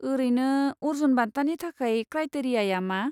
ओरैनो, अर्जुन बान्थानि थाखाय क्रायटेरियाया मा ?